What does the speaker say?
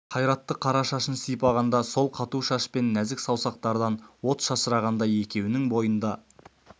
қайратты қара шашын сипағанда сол қату шаш пен нәзік саусақтардан от шашырағандай екеуінің бойы да